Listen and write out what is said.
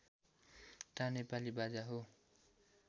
ता नेपाली बाजा हो